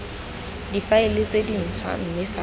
difaele tse dintshwa mme fa